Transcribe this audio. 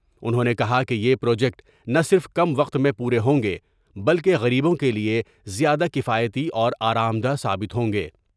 انھوں نے کہا کہ یہ پروجیکٹ نہ صرف کم وقت میں پورے ہوں گے بلکہ غریبوں کے لئے زیادہ کفایتی اور آرامدہ ثابت ہوں گے ۔